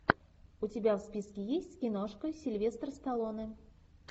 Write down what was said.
у тебя в списке есть киношка сильвестр сталлоне